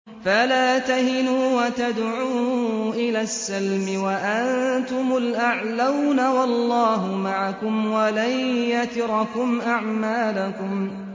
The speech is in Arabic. فَلَا تَهِنُوا وَتَدْعُوا إِلَى السَّلْمِ وَأَنتُمُ الْأَعْلَوْنَ وَاللَّهُ مَعَكُمْ وَلَن يَتِرَكُمْ أَعْمَالَكُمْ